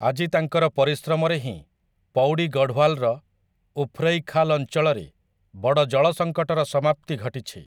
ଆଜି ତାଙ୍କର ପରିଶ୍ରମରେ ହିଁ ପୌଡ଼ି ଗଢ଼ୱାଲର ଉଫ୍ରୈଖାଲ୍ ଅଞ୍ଚଳରେ ବଡ଼ ଜଳ ସଙ୍କଟର ସମାପ୍ତି ଘଟିଛି ।